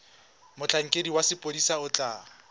motlhankedi wa sepodisi o tla